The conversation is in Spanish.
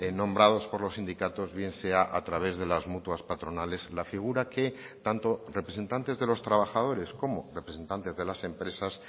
nombrados por los sindicatos bien sea a través de las mutuas patronales la figura que tanto representantes de los trabajadores como representantes de las empresas